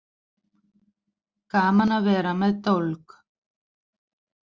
Gaman að vera með dólg